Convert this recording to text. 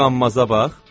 Bu qammaza bax!